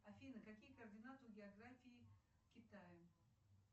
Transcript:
афина какие координаты у географии китая